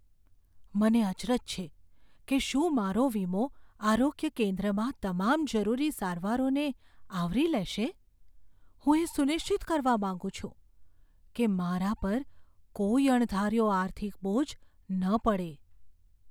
મને અચરજ છે કે શું મારો વીમો આરોગ્ય કેન્દ્રમાં તમામ જરૂરી સારવારોને આવરી લેશે? હું એ સુનિશ્ચિત કરવા માંગુ છું કે મારા પર કોઈ અણધાર્યો આર્થિક બોજ ન પડે.